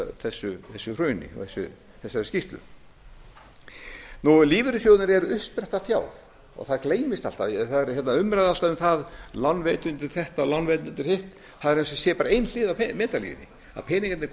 þessu hruni og þessari skýrslu lífeyrissjóðirnir eru uppspretta fjár og það gleymist alltaf það er alltaf umræða um það lánveitendur þetta og lánveitendur hitt það er eins það sé bara ein